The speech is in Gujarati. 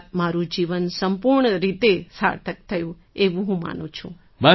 અર્થાત્ મારું જીવન સંપૂર્ણ રીતે સાર્થક થયું એવું હું માનું છું